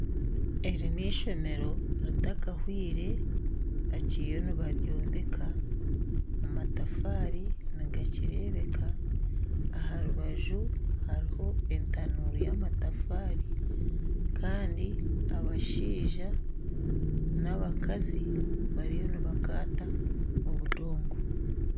Eri n'eishomeero ritakahwire bakiriyo nibaryombeka amatafaari nigakireebeka aha rubaju hariho entanuuru y'amataafari kandi abashaija n'abakazi bariyo nibakata obundogo.